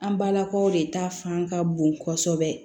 An balakaw de ta fan ka bon kosɛbɛ